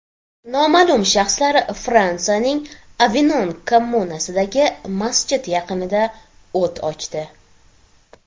Noma’lum shaxslar Fransiyaning Avinon kommunasidagi masjid yaqinida o‘t ochdi.